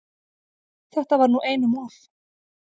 Þetta var nú einum of!